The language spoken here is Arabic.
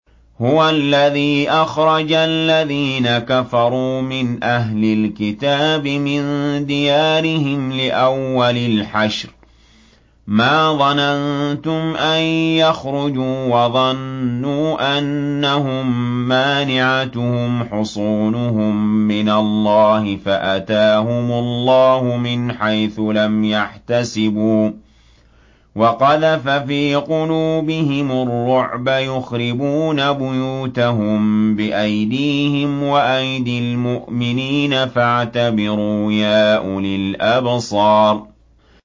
هُوَ الَّذِي أَخْرَجَ الَّذِينَ كَفَرُوا مِنْ أَهْلِ الْكِتَابِ مِن دِيَارِهِمْ لِأَوَّلِ الْحَشْرِ ۚ مَا ظَنَنتُمْ أَن يَخْرُجُوا ۖ وَظَنُّوا أَنَّهُم مَّانِعَتُهُمْ حُصُونُهُم مِّنَ اللَّهِ فَأَتَاهُمُ اللَّهُ مِنْ حَيْثُ لَمْ يَحْتَسِبُوا ۖ وَقَذَفَ فِي قُلُوبِهِمُ الرُّعْبَ ۚ يُخْرِبُونَ بُيُوتَهُم بِأَيْدِيهِمْ وَأَيْدِي الْمُؤْمِنِينَ فَاعْتَبِرُوا يَا أُولِي الْأَبْصَارِ